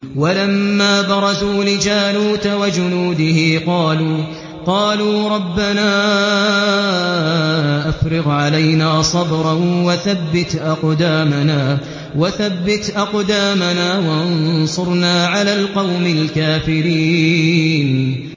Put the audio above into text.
وَلَمَّا بَرَزُوا لِجَالُوتَ وَجُنُودِهِ قَالُوا رَبَّنَا أَفْرِغْ عَلَيْنَا صَبْرًا وَثَبِّتْ أَقْدَامَنَا وَانصُرْنَا عَلَى الْقَوْمِ الْكَافِرِينَ